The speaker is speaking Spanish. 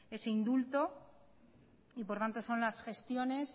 ese indulto y por tanto son las gestiones